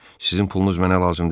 Sizin pulunuz mənə lazım deyil.